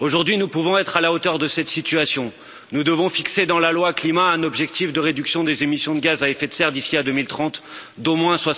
Aujourd'hui, nous pouvons être à la hauteur de cette situation, nous devons fixer dans la Loi climat un objectif de réduction des émissions de gaz à effet de serre d'ici à 2030 d'au moins